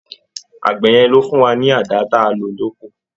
Àgbẹ̀ yẹn ló fún wa ní àdá ta lò ní oko.